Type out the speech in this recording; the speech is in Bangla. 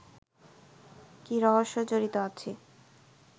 কী রহস্য জড়িত আছে